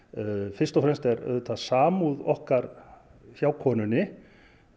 fyrst og fremst er auðvitað samúð okkar hjá konunni